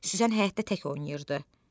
Süslən həyətdə tək oynayırdı.